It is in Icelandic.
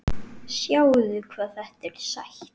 Sjáðu hvað þetta er sætt?